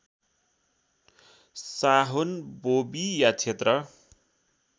साहोन बोबी या क्षेत्र